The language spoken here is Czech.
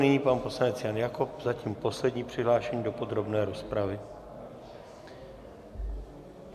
Nyní pan poslanec Jan Jakob, zatím poslední přihlášený do podrobné rozpravy.